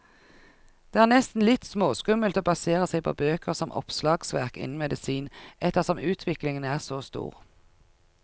Det er nesten litt småskummelt å basere seg på bøker som oppslagsverk innen medisin, ettersom utviklingen er så stor.